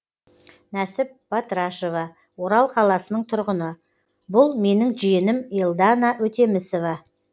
нәсіп батырашева орал қаласының тұрғыны бұл менің жиенім елдана өтемісова